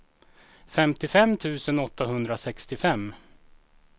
femtiofem tusen åttahundrasextiofem